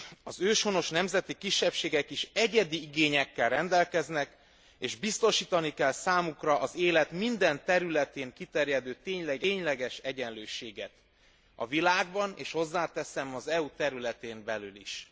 Az őshonos nemzeti kisebbségek is egyedi igényekkel rendelkeznek, és biztosítani kell számukra az élet minden területén kiterjedő tényleges egyenlőséget a világban, és hozzáteszem, az EU területén belül is.